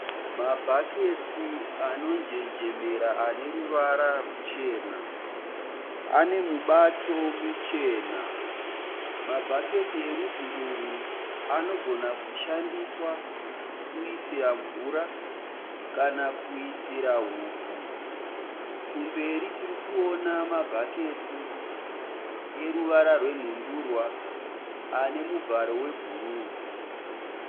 Mabhaketsi anonjenjemera ane ruvara ruchena. Ane mibato michena. Mabhaketi erudzi urwu anogona kushandiswa kuisira mvura kana kuisira hupfu. Kumberi tirikuona mabhaketi ane ruvara rwenhundurwa ane muvharo webhuru.